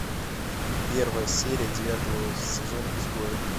первая серия девятого сезона изгои